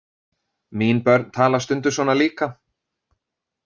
Mín börn tala stundum svona líka.